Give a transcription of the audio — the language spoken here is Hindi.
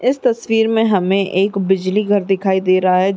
इस तस्वीर में हमें एक बिजली घर दिखाई दे रहा है।